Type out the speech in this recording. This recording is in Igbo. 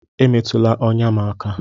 Emetụla ọnya m aka!